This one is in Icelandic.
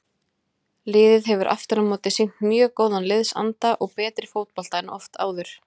Liðið hefur afturámóti sýnt mjög góðan liðsanda og betri fótbolta en oft áður.